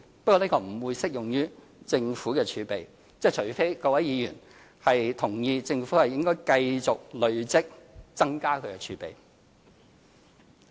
不過，這不會適用於政府的儲備，除非各位議員同意政府應繼續累積、增加儲備。